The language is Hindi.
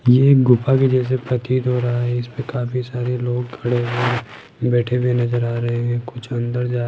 ये एक गुफा के जैसे प्रतीत हो रहा है इसमें काफी सारे लोग खड़े हुए बैठे हुए नजर आ रहे हैं कुछ अंदर जा --